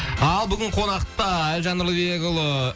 ал бүгін қонақта әлжан нұрлыбекұлы